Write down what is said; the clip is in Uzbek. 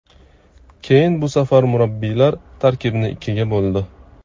Keyin bu safar murabbiylar tarkibni ikkiga bo‘ldi.